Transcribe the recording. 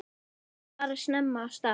Bókanir fara snemma af stað.